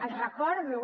els recordo